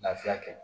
Lafiya kɛ